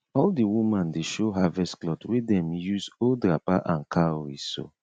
all the woman dey show harvest cloth wey dem use old wrapper and cowrie sew